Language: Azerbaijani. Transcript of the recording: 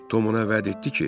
Tom ona vəd etdi ki: